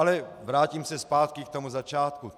Ale vrátím se zpátky k tomu začátku.